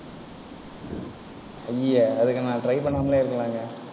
அய்யய்ய, அதுக்கு நான் try பண்ணாமலே இருக்கலாங்க.